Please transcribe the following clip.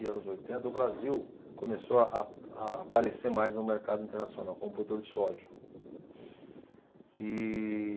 e anos oitenta, o Brasil começou a, a aparecer mais no mercado internacional como produtor de soja. E